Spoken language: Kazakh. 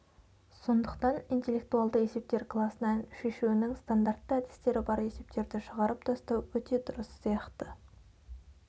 сондықтан интеллектуалды есептер класынан шешуінің стандартты әдістері бар есептерді шығарып тастау өте дұрыс сияқты